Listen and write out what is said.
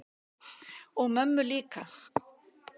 Og mömmu líka.